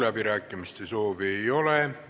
Läbirääkimiste soovi ei ole.